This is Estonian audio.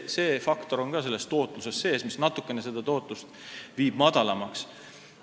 See faktor on ka selles tootluses sees ja see viib natuke tootlust väiksemaks.